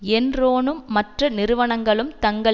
என்ரோனும் மற்ற நிறுவனங்களும் தங்கள்